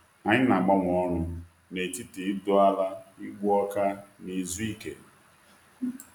Anyị na-agbanwe ọrụ n’etiti ịdọ ala, igbu ọka, na izu ike.